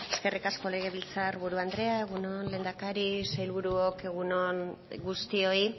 eskerrik asko legebiltzar buru andrea egun on lehendakari sailburuok egun on guztioi